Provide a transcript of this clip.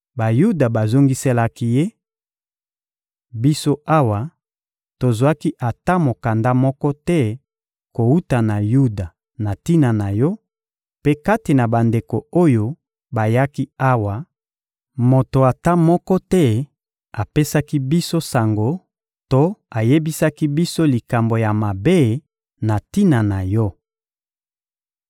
Bayuda bazongiselaki ye: — Biso awa, tozwaki ata mokanda moko te kowuta na Yuda na tina na yo; mpe kati na bandeko oyo bayaki awa, moto ata moko te apesaki biso sango to ayebisaki biso likambo ya mabe na tina na yo.